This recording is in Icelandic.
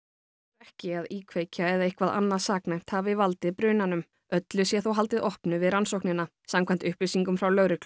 ekki að íkveikja eða eitthvað annað saknæmt hafi valdið brunanum öllu sé þó haldið opnu við rannsóknina samkvæmt upplýsingum frá lögreglu